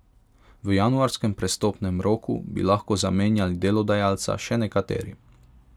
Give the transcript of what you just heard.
V januarskem prestopnem roku bi lahko zamenjali delodajalca še nekateri.